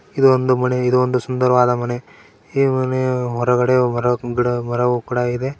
ಇದು ಒಂದು ಮಳೆ ಇದು ಒಂದು ಸುಂದರವಾದ ಮನೆ ಈ ಮನೆಯ ಹೊರಗಡೆ ಕೂಡ ಇದೆ.